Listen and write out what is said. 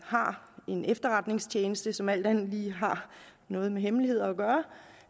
har en efterretningstjeneste som alt andet lige har noget med hemmeligheder